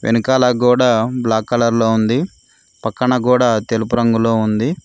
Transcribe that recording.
వెనకాల గోడ black colour లో ఉంది పక్కన గోడా తెలుపు రంగులో ఉంది.